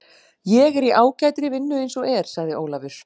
Ég er í ágætri vinnu eins og er, sagði Ólafur.